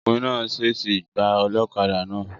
Ọkùnrin náà sèèsì gbà olókadà náà